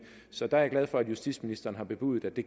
så der er jeg glad for at justitsministeren har bebudet at det